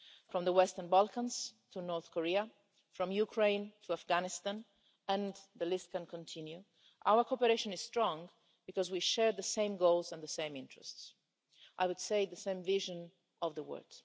From the Western Balkans to North Korea, from Ukraine to Afghanistan and the list can continue our cooperation is strong because we share the same goals and the same interests and, I would say, the same vision of the world.